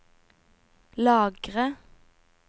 lagre